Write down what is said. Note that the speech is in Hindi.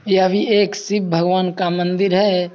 यह भी एक शिव भगवान का मंदिर है।